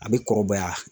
A bɛ kɔrɔbaya